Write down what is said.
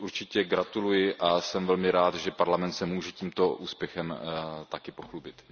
Určitě gratuluji a jsem velmi rád, že Parlament se může tímto úspěchem také pochlubit.